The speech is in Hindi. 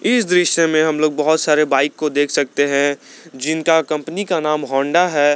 इस दृश्य में हम लोग बहुत सारे बाइक को देख सकते हैं जिनका कंपनी का नाम होंडा है।